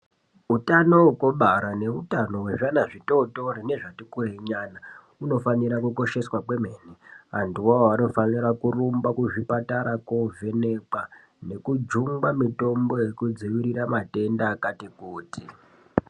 Utano hwekubara neutano hwezvana bzvitootori nezvatikurei nyana hunofanira kukosheswa kwemene. Antuvo avavo anofanira kurumba kuzvipatara koovhenekwa nekujungwa mitombo yekudzivirira matenda akati kuti.